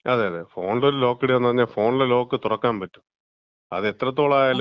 അതെ അതെ, ഫോണിലൊരു ലോക്ക് ഇടാന്ന് പറഞ്ഞാ, ഫോണിലെ ലോക്ക് തുറക്കാൻ പറ്റും. അത് എത്രത്തോളമായാലും,